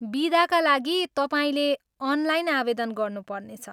बिदाका लागि, तपाईँले अनलाइन आवेदन गर्नुपर्नेछ।